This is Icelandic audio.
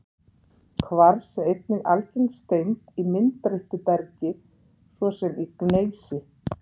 Kvars er einnig algeng steind í myndbreyttu bergi, svo sem í gneisi.